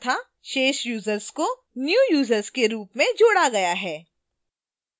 शेष यूजर्स को new users के रूप में जोड़ा गया है